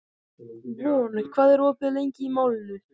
Von, hvað er opið lengi í Málinu?